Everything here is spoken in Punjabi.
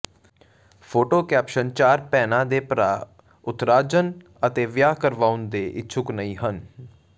ਫੋਟੋ ਕੈਪਸ਼ਨ ਚਾਰ ਭੈਣਾਂ ਦੇ ਭਰਾ ਉਥਰਾਜਨ ਅਜੇ ਵਿਆਹ ਕਰਵਾਉਣ ਦੇ ਇੱਛੁਕ ਨਹੀਂ ਹਨ